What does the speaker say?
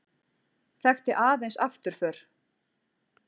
Þekkti aðeins afturför.